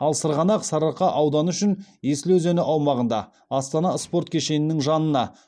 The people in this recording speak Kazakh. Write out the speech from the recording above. ал сырғанақ сарыарқа ауданы үшін есіл өзені аумағында астана спорт кешенінің жанына